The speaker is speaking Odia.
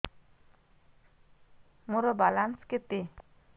ମୋର ବାଲାନ୍ସ କେତେ